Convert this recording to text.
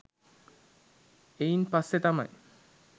එයින් පස්සේ තමයි